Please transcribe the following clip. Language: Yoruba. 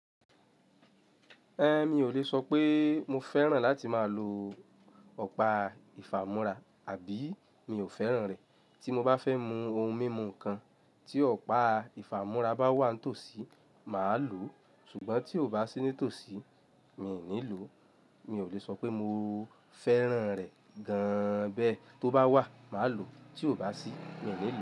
Mi ò le sọ pé mo fẹ́ràn láti máa lo ọ̀pá ìfàmúrá àbí mi ò fẹ́ràn rẹ̀. Tí mo bá fẹ́ mu ohun mímu kan, tí ọ̀pá ìfàmúrá bá wà n tòsí, màá lòó. Ṣùgbọ́n tí kò bá sí ní tòsí, mi ò ní lòó. Mi ò le sọ pé mo fẹ́ràn rẹ̀ gan an bẹ́ẹ̀. Tí ó bá wà, màá lòó, tí ò bá sí, mi ò ní lòó.